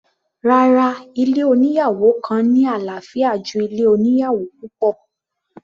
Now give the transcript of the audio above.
Rárá, ilé oníyàwò kan ní àlàáfíà ju ilé oníyàwò púpọ̀.